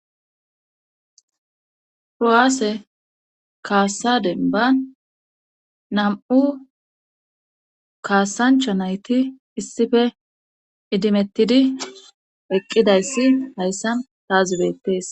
Froaase kaasaden ba nam,u kaasancha nayti issife idimettidi eqqidayssi hayssan taa zubettees.